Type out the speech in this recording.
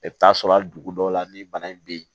I bɛ taa sɔrɔ hali dugu dɔw la ni bana in bɛ yen